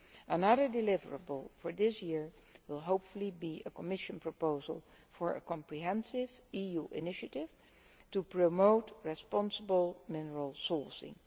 Another deliverable for this year will hopefully be a Commission proposal for a comprehensive EU initiative to promote responsible mineral sourcing.